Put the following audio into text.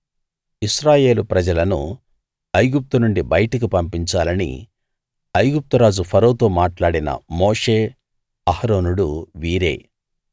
ఇశ్రాయేలు ప్రజలను ఐగుప్తు నుండి బయటికి పంపించాలని ఐగుప్తు రాజు ఫరోతో మాట్లాడిన మోషే అహరోనులు వీరే